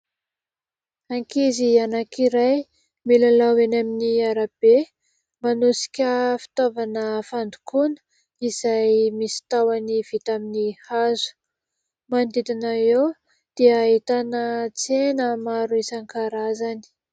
Ankizy anankiray milalao eny amin'ny arabe, manosika fitaovana fandokoana izay misy tahony vita amin'ny hazo ; manodidina eo dia ahitana tsena maro isan-karazany.